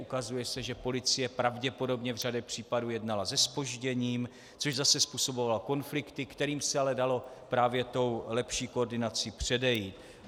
Ukazuje se, že policie pravděpodobně v řadě případů jednala se zpožděním, což zase způsobovalo konflikty, kterým se ale dalo právě tou lepší koordinací předejít.